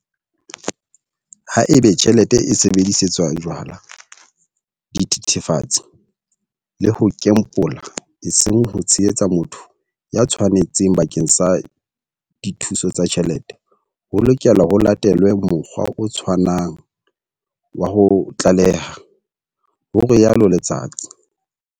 Haeba tjhelete e sebedisetswa jwala, dithethefatse le ho kembola eseng ho tshehetsa motho ya tshwanetseng bakeng sa dithuso tsa tjhelete, ho lokela ho latelwe mokgwa o tshwanang wa ho tlaleha, ho rialo Letsatsi.